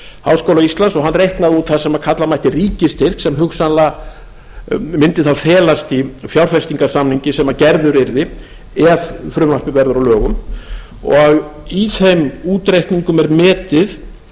háskóla íslands og hann reiknaði út það kalla mætti ríkisstyrk sem hugsanlega mundi felast í fjárfestingarsamningi sem gerður yrði ef frumvarpið verður að lögum og í þeim útreikningum er metið